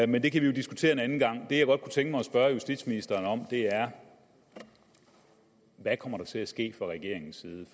men det kan vi jo diskutere en anden gang det jeg godt kunne tænke mig at spørge justitsministeren om er hvad kommer der til at ske fra regeringens side